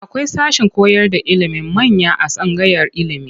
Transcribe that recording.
Akwai sashen koyarda ilimin manya a tsangayar ilimi.